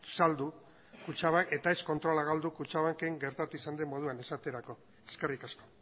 saldu kutxabank eta ez kontrola galdu kutxabanken gertatu izan den moduan esaterako eskerrik asko